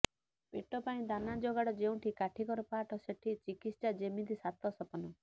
ପେଟ ପାଇଁ ଦାନା ଯୋଗାଡ ଯେଉଁଠି କାଠିକର ପାଠ ସେଠି ଚିକିତ୍ସା ଯେମିତି ସାତ ସପନ